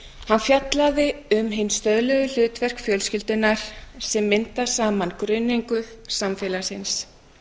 hann fjallaði um hin stöðluðu hlutverk fjölskyldunnar sem mynda saman grunneiningu samfélagsins